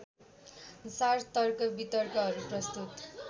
साथ तर्कवितर्कहरू प्रस्तुत